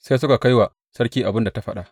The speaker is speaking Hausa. Sai suka kai wa sarki abin da ta faɗa.